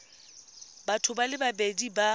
batho ba le babedi ba